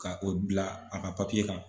Ka o bila a ka kan.